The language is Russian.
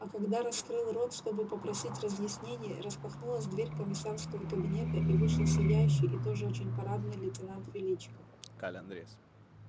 а когда раскрыл рот чтобы попросить разъяснений распахнулась дверь комиссарского кабинета и вышел сияющий и тоже очень парадный лейтенант величко